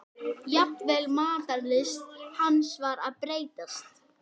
Það voru bakháir sófar meðfram veggjunum.